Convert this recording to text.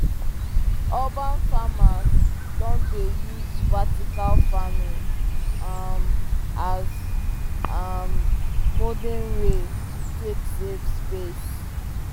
um urban farmers don dey use vertical farming um as um modern way to take save space